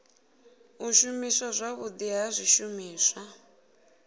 u shumiswa zwavhudi ha zwishumiswa